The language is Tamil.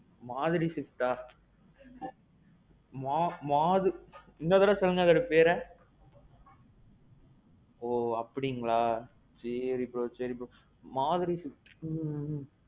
மாருதி Swiftஆ? மாறு. இன்னொருதடவ சொல்லுங்க அந்த பெற, ஓ அப்படிங்களா? சேரி bro சரி bro. மாருதி swift.